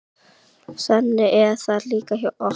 Þannig er það líka hjá okkur.